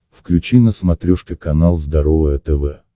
включи на смотрешке канал здоровое тв